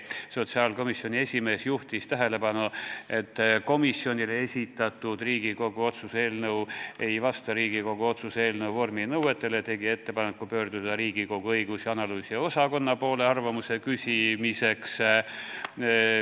Sotsiaalkomisjoni esimees juhtis tähelepanu, et komisjonile esitatud Riigikogu otsuse eelnõu ei vasta Riigikogu otsuse eelnõu vorminõuetele ja tegi ettepaneku pöörduda Riigikogu õigus- ja analüüsiosakonna poole arvamuse küsimiseks.